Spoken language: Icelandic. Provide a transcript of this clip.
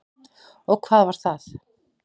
Og hvað var það?